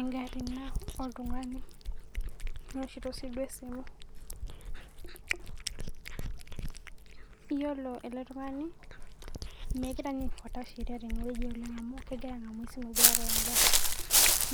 Egarri ina oltung'ani. Owoshito si duo esimu. Yiolo ele tung'ani, megira niye aifuata sheria oleng' tenewueji amu kegira ang'amu esimu egira areu egarri.